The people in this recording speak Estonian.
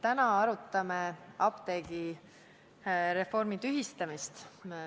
Täna arutame apteegireformi tühistamist.